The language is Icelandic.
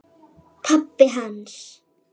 Pabbi hans?